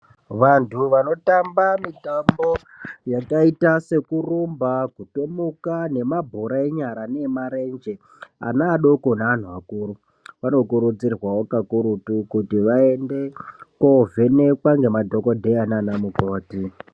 Vantu vanotamba mitambo yakaita sekurumba, kutomuka, nemabhora enyara neemarenje, ana adoko, neanhu akuru, vanokurudzirwawo kakurutu, kuti vaende koovhenekwa ngemadhokodheya naanamukoti .